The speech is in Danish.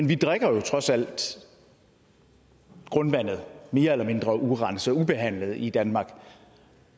vi drikker jo trods alt grundvandet mere eller mindre urenset og ubehandlet i danmark